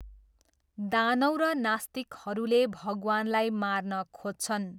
दानव र नस्तिकहरूले भगवानलाई मार्न खोज्छन्।